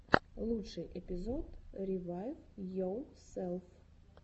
лучший эпизод ревайвйоселф